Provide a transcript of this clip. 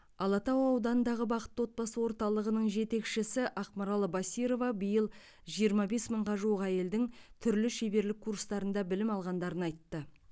алатау ауданындағы бақытты отбасы орталығының жетекшісі ақмарал басирова биыл жиырма бес мыңға жуық әйелдің түрлі шеберлік курстарында білім алғандарын айтты